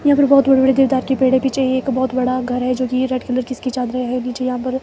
यहां पर बहोत बड़े बड़े देवदार की पेड़ हैं पिछे एक बहोत बड़ा घर है जो की रेड कलर कि इसकी चादरे है नीचे यहां पर--